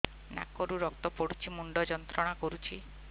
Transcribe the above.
ନାକ ରୁ ରକ୍ତ ପଡ଼ୁଛି ମୁଣ୍ଡ ଯନ୍ତ୍ରଣା କରୁଛି